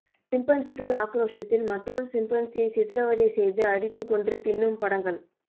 சிம்பன்சிகள் ஆக்ரோஷத்தில் மற்றொரு சிம்பன்சியை சித்திரவதை செய்து அடித்து கொன்று தின்னும் படங்கள்